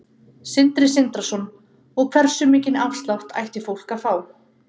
Sindri Sindrason: Og hversu mikinn afslátt ætti fólk að fá?